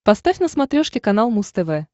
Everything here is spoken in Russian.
поставь на смотрешке канал муз тв